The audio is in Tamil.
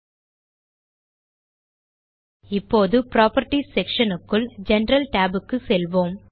ல்ட்பாசெக்ட் இப்போது புராப்பர்ட்டீஸ் செக்ஷன் னுக்குள் ஜெனரல் tab க்கு செல்வோம்